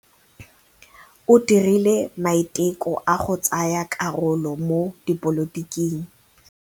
O dirile maitekô a go tsaya karolo mo dipolotiking.